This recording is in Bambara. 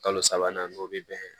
Kalo sabanan n'o bɛ bɛn